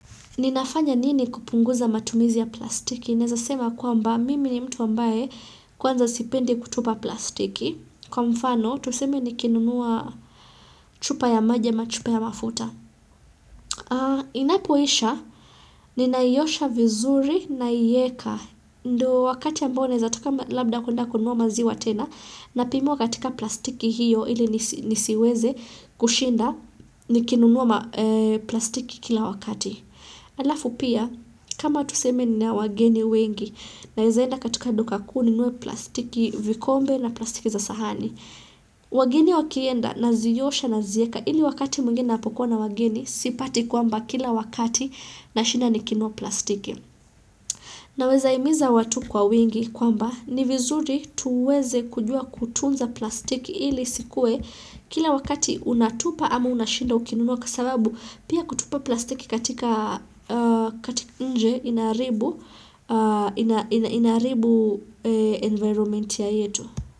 Ninafanya nini kupunguza matumizi ya plastiki? Naweza sema ya kwamba mimi ni mtu wa ambaye kwanza sipendi kutupa plastiki. Kwa mfano, tuseme nikinunua chupa ya maji, ama chupa ya mafuta. Inapoisha, ninaiosha vizuri naieka. Ndo wakati ambao naea taka labda kwenda, kununua maziwa tena. Napimiwa katika plastiki hiyo, ili nisi nisi weze kushinda, ni kinunua ma plastiki kila wakati. Alafu pia kama tuseme ninao wageni wengi naeza enda katika duka kuu ninue plastiki vikombe na plastiki za sahani wageni wakienda nazi osha na zieka ili wakati mwingine napokuwa na wageni sipati kwamba kila wakati na shinda nikinunua plastiki Naweza hmiza watu kwa wingi kwamba ni vizuri tuweze kujua kutunza plastiki ili isikuwe kila wakati unatupa ama unashinda ukinunua kwa sababu pia kutupa plastiki katika nje inaharibu inaharibu environment ya yetu.